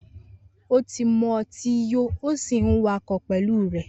Oti mútì yò òsí ń wà kọ pẹlu rẹ.